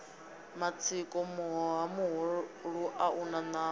matsiko muhoha muhulua una nama